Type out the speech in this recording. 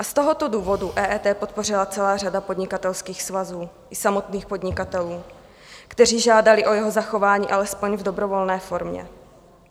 A z tohoto důvodu EET podpořila celá řada podnikatelských svazů i samotných podnikatelů, kteří žádali o jeho zachování alespoň v dobrovolné formě.